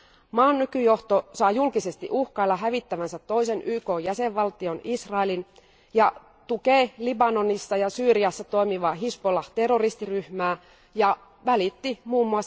Maan nykyjohto saa julkisesti uhkailla hävittävänsä toisen YKn jäsenvaltion Israelin ja tukee Libanonissa ja Syyriassa toimivaa hizbollah terroristiryhmää ja välitti mm.